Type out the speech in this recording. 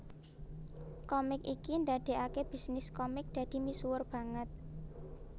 Komik iki ndadekake bisnis komik dadi misuwur banget